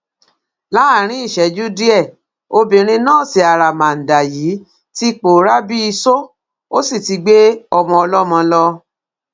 láàrín ìṣẹ́jú díẹ obìnrin nọ́ọ̀sì àràmàǹdà yìí ti pòórá bíi iṣó ó sì ti gbé ọmọ ọlọ́mọ lọ